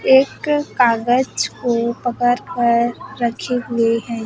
एक कागज को पकड़ कर रखे हुए हैं।